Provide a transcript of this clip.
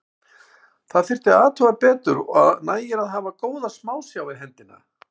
Þetta þyrfti að athuga betur og nægir að hafa góða smásjá við hendina.